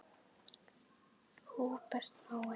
Húbert Nói.